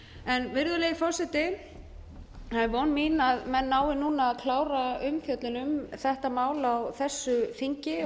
greina virðulegi forseti það er von mín að menn nái núna að klára umfjöllun um þetta mál á þessu þingi og